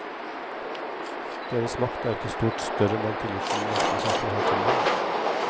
Deres makt er ikke stort større enn den tilliten menneskene i samfunnet har til dem.